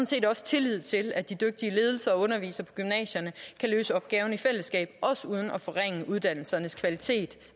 set også tillid til at de dygtige ledelser og undervisere på gymnasierne kan løse opgaverne i fællesskab også uden at forringe uddannelsernes kvalitet